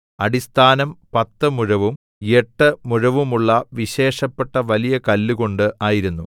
അടിസ്ഥാനം പത്ത് മുഴവും എട്ട് മുഴവുമുള്ള വിശേഷപ്പെട്ട വലിയ കല്ലുകൊണ്ട് ആയിരുന്നു